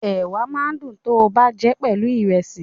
Ẹ̀wà máa ń dùn tọ́ bá jẹ́ pelu Ìrẹ́sì